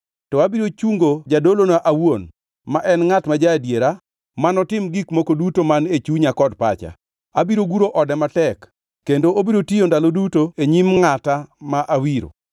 To abiro chungo Jadolona awuon ma en ngʼat ma ja-adiera, manotim gik moko duto man e chunya kod pacha. Abiro guro ode matek, kendo obiro tiyo ndalo duto e nyim ngʼata ma awiro.